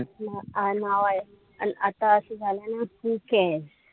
आता असं झालंय ना ठीके.